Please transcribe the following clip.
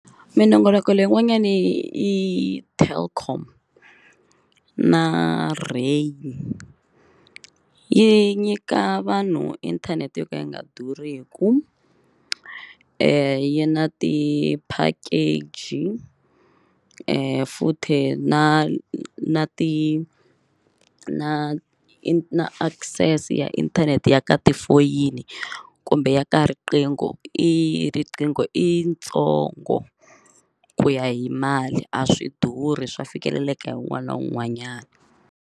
Minongoloko leyin'wanyana i Telkom na rain yi nyika vanhu inthanete yo ka yi nga durhiki yi na ti-package futhi na na ti na i na access ya inthanete ya ka tifoyini kumbe ya ka riqingho i riqingho i yi ntsongo ku ya hi mali a swi durhi swa fikeleleka hi un'wana na un'wanyana.